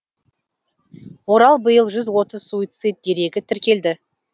орал биыл жүз отыз суицид дерегі тіркелді